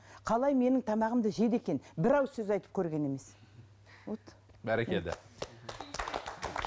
қалай менің тамағымды жеді екен бір ауыз сөз айтып көрген емес вот бәркелді